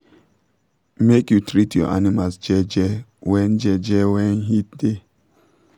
make u treat your animals jeje when jeje when heat da